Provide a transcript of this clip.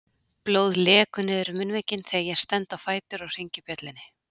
Blóð lekur niður munnvikin þegar ég stend á fætur og hringi bjöllunni.